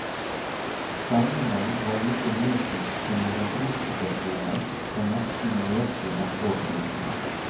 Stemningen var like nedtrykt som under flykatastrofen for nesten nøyaktig ett år siden.